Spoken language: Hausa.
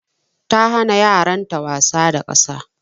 Ta hana yaran ta wasa da ƙasa.